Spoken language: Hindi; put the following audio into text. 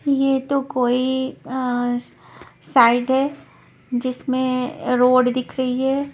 ये तो कोई अ स साइड है जिसमें अ रोड दिख रही है।